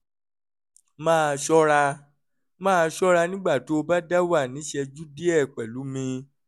máa ṣọ́ra máa ṣọ́ra nígbà tó o bá dáwà ní ìṣẹ́jú díẹ̀ pẹ̀lú mi